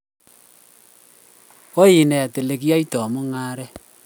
koinet ole kiyaitoi mungaret